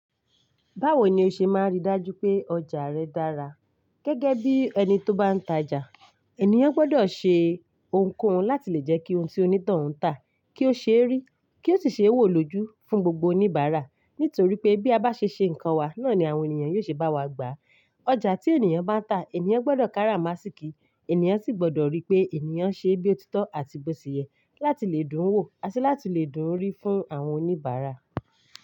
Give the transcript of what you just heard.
Báwo ni o ṣe máa rí i dájú pé ọjà rẹ dára? Gẹ́gẹ́ bí ẹni tó bá ń ta ọjà, ènìyàn gbọ́dọ̀ ṣe ohunkóhun láti lè jẹ́ kí ohun tí onít oun ń tà kí ó ṣe rí, kí ó sì ṣe wò lójú fún gbogbo oníbàárà. Nítorí pé bí a bá ṣe ṣe nǹkan wa, náà ni àwọn ènìyàn yóò ṣe bá wa gbà. Ọjà tí ènìyàn bá ń tà, ènìyàn gbọ́dọ̀ kára màsíkì, ènìyàn sì gbọ́dọ̀ rí pé ènìyàn ṣe bí òtítọ́ àti bó ṣẹ̀ yẹ láti lè dùn wò, àti láti lè dùn rí fún àwọn oníbàárà.